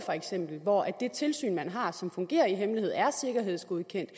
hvor det tilsyn man har som fungerer i hemmelighed er sikkerhedsgodkendt